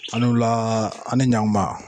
A ni wula , a ni yan kuma.